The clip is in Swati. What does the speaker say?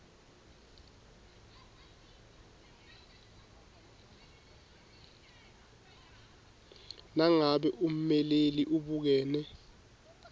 nangabe ummeleli ubukene